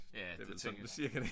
Ja det tænker